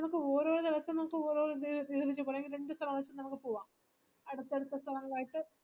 അടുത്തടുത്ത സ്ഥലങ്ങളായിട്ട്